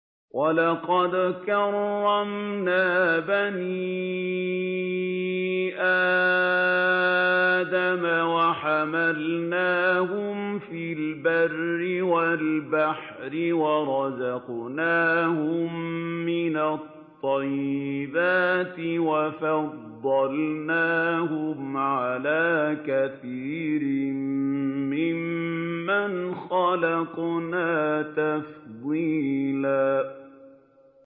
۞ وَلَقَدْ كَرَّمْنَا بَنِي آدَمَ وَحَمَلْنَاهُمْ فِي الْبَرِّ وَالْبَحْرِ وَرَزَقْنَاهُم مِّنَ الطَّيِّبَاتِ وَفَضَّلْنَاهُمْ عَلَىٰ كَثِيرٍ مِّمَّنْ خَلَقْنَا تَفْضِيلًا